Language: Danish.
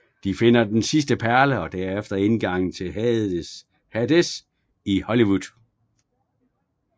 De finder den sidste perle og derefter indgangen til Hades i Hollywood